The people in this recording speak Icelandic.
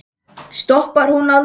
Stoppar hún aldrei?